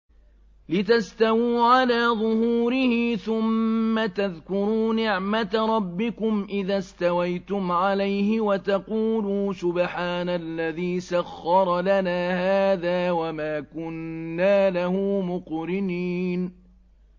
لِتَسْتَوُوا عَلَىٰ ظُهُورِهِ ثُمَّ تَذْكُرُوا نِعْمَةَ رَبِّكُمْ إِذَا اسْتَوَيْتُمْ عَلَيْهِ وَتَقُولُوا سُبْحَانَ الَّذِي سَخَّرَ لَنَا هَٰذَا وَمَا كُنَّا لَهُ مُقْرِنِينَ